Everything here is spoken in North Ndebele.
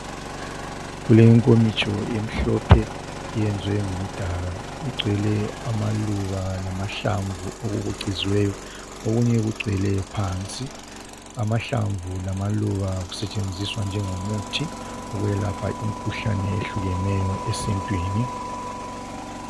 Kulenkomitsho emhlophe eyenziwe ngomdaka. lgcwele amaluba, lamahlamvu, okubucuziweyo. Okunye kugcwele phansi. Amahlamvu lamaluba kusetshenziswa njengomuthi, wokwelapha imikhuhlane ehlukeneyo, esintwini.